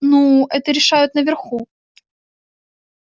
ну это решают наверху